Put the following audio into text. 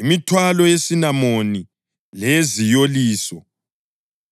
imithwalo yesinamoni leyeziyoliso,